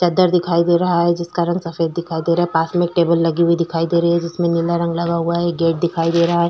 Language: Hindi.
चद्दर दिखाई दे रहा है जिसका रंग सफेद दिखाई दे रहा है । पास में एक टेबल लगी हुई दिखाई दे रही है जिसमें नीला रंग लगा हुआ है । एक गेट दिखाई दे रहा है ।